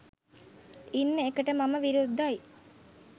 ඉන්න එකට මම විරුද්ධයි.